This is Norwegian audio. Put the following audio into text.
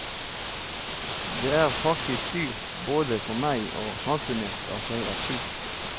Det er faktisk dyrt både for meg og samfunnet at jeg er syk.